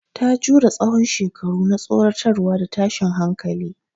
Ta jure tsawon shekaru na tsoratarwa da tashin hankali.